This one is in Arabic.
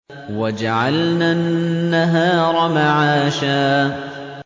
وَجَعَلْنَا النَّهَارَ مَعَاشًا